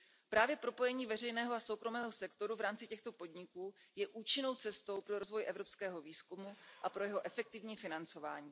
Právě propojení veřejného a soukromého sektoru v rámci těchto podniků je účinnou cestou pro rozvoj evropského výzkumu a pro jeho efektivní financování.